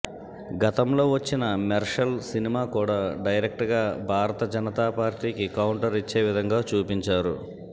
గతంలో వచ్చిన మెర్శల్ సినిమా కూడా డైరెక్ట్ గా భారత జనతా పార్టీకి కౌంటర్ ఇచ్చే విధంగా చూపించారు